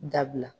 Dabila